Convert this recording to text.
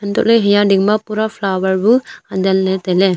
antohley haya dingma pura flower bu adenley tailey.